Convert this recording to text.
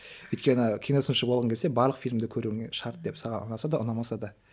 өйткені киносыншы болғың келсе барлық фильмді көруіңе шарт деп саған ұнаса да ұнамаса да